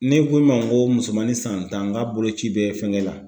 Ne ko e ma n ko musomani san tan, n k'a boloci bɛ fɛnkɛ la.